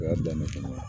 O y'a dan ne fana ye